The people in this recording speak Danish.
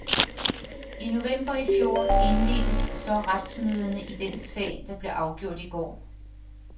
I november i fjor indledtes så retsmøderne i den sag, der blev afgjort i går.